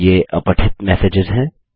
ये अपठित मैसेजेस हैं